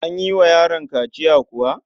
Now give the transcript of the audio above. An yi wa yaron kaciya kuwa?